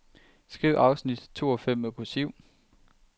Skriv afsnit to og fem med kursiv.